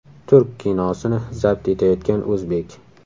Turk kinosini zabt etayotgan o‘zbek.